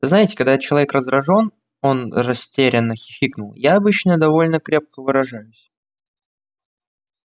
знаете когда человек раздражён он растерянно хихикнул я обычно довольно крепко выражаюсь